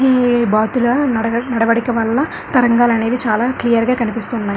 ఈ బాతుల నడవ నడవడిక వళ్ళ తరంగాలు అనేవి చాలా క్లియర్ గా కనిపిస్తున్నాయి.